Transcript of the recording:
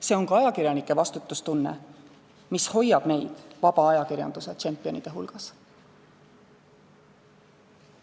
See on ka ajakirjanike vastutustunne, mis hoiab meid vaba ajakirjanduse tšempionide hulgas.